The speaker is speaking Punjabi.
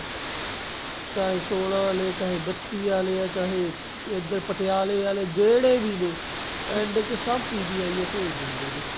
ਚਾਹੇ ਸੋਲਾਂ ਆਲੇ ਚਾਹੇ ਬੱਤੀ ਆਲੇ ਚਾਹੇ ਪਟਿਆਲੇ ਆਲੇ ਜਿਹੜੇ ਵੀ ਨੇ end ਚ ਸਬ PGI ਓ ਭੇਜ ਦਿੰਦੇ ਨੇ